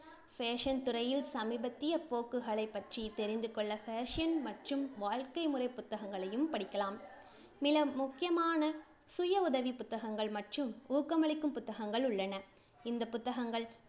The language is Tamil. fashion துறையில் சமீபத்திய போக்குகளைப் பற்றி தெரிந்துகொள்ள fashion மற்றும் வாழ்க்கை முறை புத்தகங்களையும் படிக்கலாம்.